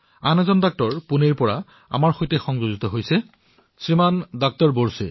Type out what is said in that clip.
আৰু এজন চিকিৎসক আমাৰ সৈতে জড়িত হৈছেশ্ৰীমান ডাক্টৰ বোৰছে